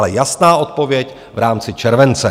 Ale jasná odpověď - v rámci července.